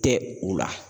Tɛ u la